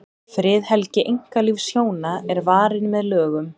friðhelgi einkalífs hjóna er varin með lögum